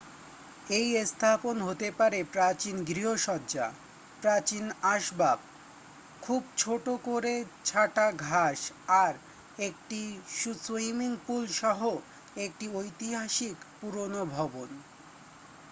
এই স্থাপন হতে পারে প্রাচীন গৃহসজ্জা প্রাচীন আসবাব খুব ছোট করে ছাটা ঘাষ আর একটি সুইমিংপুল সহ একটি ঐতিহাসিক পুরানো ভবন